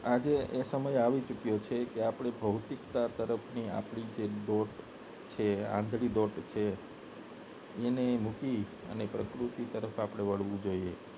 આજે એ સમય આવી ચૂક્યો છે આપને ભૌતિકતા તરફ ની આપડી જે દોટ છે આંધળી દોટ છે એને મૂકી ને પ્રકૃતિ તરફ આપડે વળવું જોઈએ